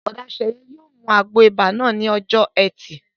Bùrọ̀dá Sẹ̀yẹ yóò mu àgbo ibà náà ní ọjọ́ ẹtì